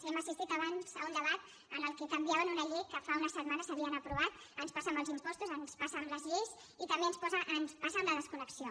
hem assistit abans a un debat en el que canviaven una llei que fa unes setmanes havien aprovat ens passa amb els impostos ens passa amb les lleis i també ens passa amb la desconnexió